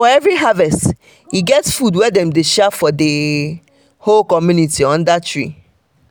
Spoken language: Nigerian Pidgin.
for every harvest e get food wey dem dey share for the um whole community under tree.